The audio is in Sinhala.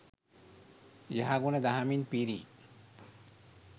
යහගුණ දහමින් පිරි